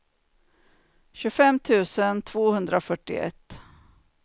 tjugofem tusen tvåhundrafyrtioett